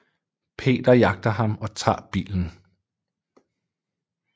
Peter jagter ham og tager bilen